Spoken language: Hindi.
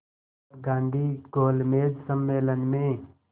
तब गांधी गोलमेज सम्मेलन में